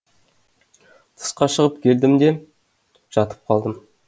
тысқа шығып келдім де жатып қалдым